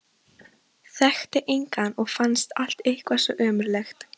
Þekkti engan og fannst allt eitthvað svo ömurlegt.